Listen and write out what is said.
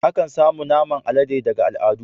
Akan samu naman alade daga al'adu.